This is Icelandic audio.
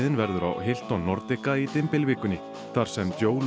verður á Hilton Nordica í dymbilvikunni þar sem